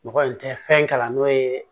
Mɔgɔ in tɛ fɛn kalan n'o ye